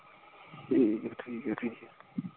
ਠੀਕ ਆ ਠੀਕ ਆ ਠੀਕ ਆ,